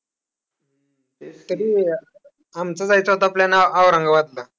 तरी, आमचा जायचा होता plan औरंगाबादला.